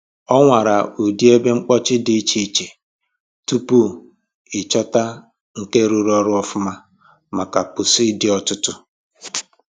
Ọ nwara ụdị ebe mkpochi dị iche iche tupu ịchọta nke rụrụ ọrụ ọfụma maka pusi dị ọtụtụ